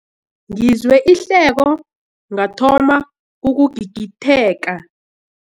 Ngizwe ihleko ngathoma ukugigitheka.